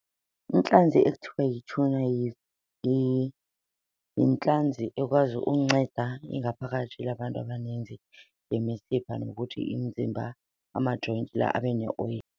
Intlanzi ekuthiwa yi-tuna yintlanzi ekwazi unceda ingaphakathi labantu abaninzi, imisipha nokuthi imizimba ama-joints la abe neoyile.